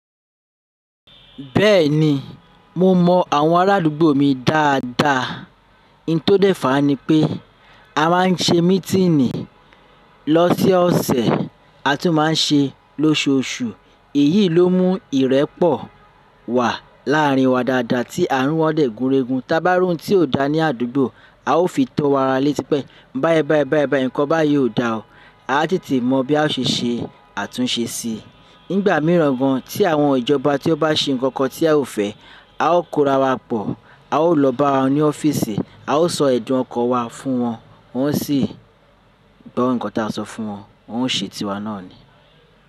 Bẹ́ẹ̀ni, mo mọ àwọn arádúgbò mi dáadáa. N tó dèfá ni pé a má n ṣe mítìnì lọ́sẹ̀ ọsẹ̀, a tún má n ṣe lóṣoọṣù. Èyí ló mún ìrẹ́pọ̀ wà láàrin wa dáadáa tí àárin wọn dẹ̀ gúnregun. Tábá ri oún tí kò dá ní àdúgbò, a ó fi tó ara létí pé báyébáyé, báyébáyé nǹkan báyìí ò da o. A á tètè mọ̀ bí a ṣe ṣe àtúnṣe sí i. Nígbà míràn gan, tí àwọn ìjọba tí ó bá ṣe nǹkan tí a ò fẹ́, a ó korawa pọ̀, a ó lọ bá wọn ní ọ́fíìsì, a ó sọ èdùn ọkọ̀ wa fún wọn, wọ́n sì gbo nǹkan tí a sọ fún wọn, wọ́n ó ṣètì wa náà ni.